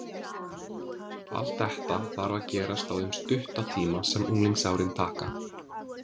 Allt þetta þarf að gerast á þeim stutta tíma sem unglingsárin taka.